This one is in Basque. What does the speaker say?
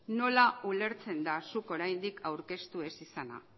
nola ulertzen da zuk oraindik aurkeztu ez izana